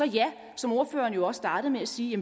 ja som ordføreren jo også startede med at sige